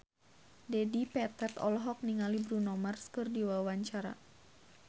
Dedi Petet olohok ningali Bruno Mars keur diwawancara